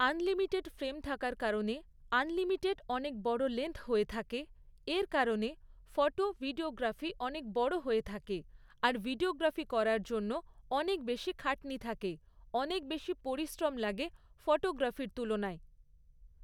Unlimited frame থাকার কারণে unlimited অনেক বড়ো লেংথ হয়ে থাকে, এর কারণে ফটো ভিডিওগ্রাফি অনেক বড়ো হয়ে থাকে আর ভিডিওগ্রাফি করার জন্য অনেক বেশী খাটনি থাকে, অনেক বেশী পরিশ্রম লাগে ফটোগ্রাফির তুলনায়।